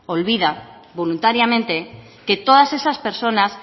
olvida voluntariamente que todas esas personas